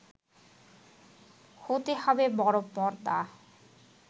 হতে হবে বড় পর্দা